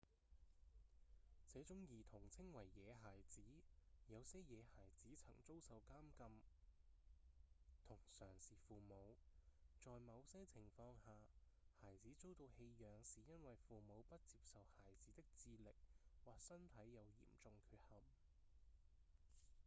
這種兒童稱為「野孩子」有些野孩子曾遭受監禁同常是父母；在某些情況下孩子遭到棄養是因為父母不接受孩子的智力或身體有嚴重缺陷